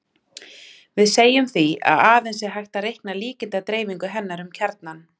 Við segjum því að aðeins sé hægt að reikna líkindadreifingu hennar um kjarnann.